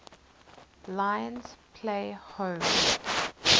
lions play home